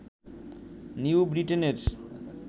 new ব্রিটেনের